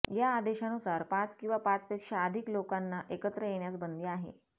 या आदेशानुसार पाच किंवा पाचपेक्षा अधिक लोकांना एकत्र येण्यास बंदी आहे